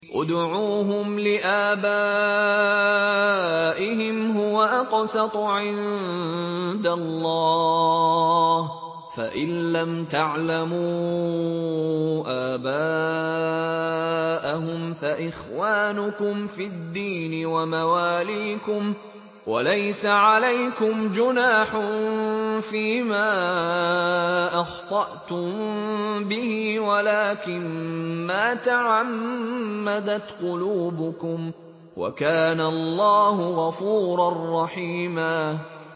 ادْعُوهُمْ لِآبَائِهِمْ هُوَ أَقْسَطُ عِندَ اللَّهِ ۚ فَإِن لَّمْ تَعْلَمُوا آبَاءَهُمْ فَإِخْوَانُكُمْ فِي الدِّينِ وَمَوَالِيكُمْ ۚ وَلَيْسَ عَلَيْكُمْ جُنَاحٌ فِيمَا أَخْطَأْتُم بِهِ وَلَٰكِن مَّا تَعَمَّدَتْ قُلُوبُكُمْ ۚ وَكَانَ اللَّهُ غَفُورًا رَّحِيمًا